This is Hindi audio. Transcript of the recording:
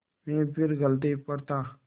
मैं फिर गलती पर था